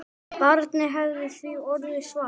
Barnið hefði því orðið svart.